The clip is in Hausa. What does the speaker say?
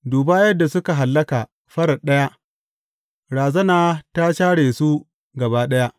Duba yadda suka hallaka farat ɗaya, razana ta share su gaba ɗaya!